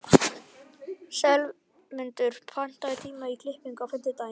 slefmundur, pantaðu tíma í klippingu á fimmtudaginn.